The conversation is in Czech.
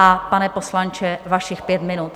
A pane poslanče, vašich pět minut.